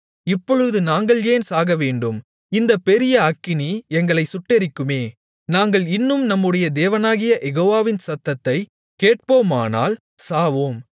இப்பொழுது நாங்கள் ஏன் சாகவேண்டும் இந்தப் பெரிய அக்கினி எங்களை சுட்டெரிக்குமே நாங்கள் இன்னும் நம்முடைய தேவனாகிய யெகோவாவின் சத்தத்தைக் கேட்போமானால் சாவோம்